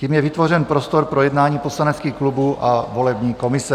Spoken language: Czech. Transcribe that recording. Tím je vytvořen prostor pro jednání poslaneckých klubů a volební komise.